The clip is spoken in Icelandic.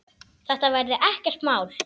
Þetta verði ekkert mál.